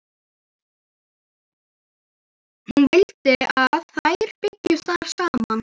Hún vildi að þær byggju þar saman.